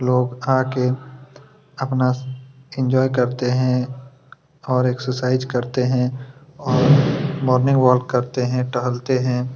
लोग आके अपना एन्जॉय करते हैं और एक्सरसाइज करते हैं और मोर्निंग वाल्क करते हैं टहलते हैं।